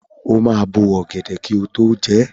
O máa bó ọ̀gẹ̀dẹ̀ kí o tó jẹ ẹ́.